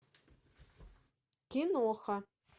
киноха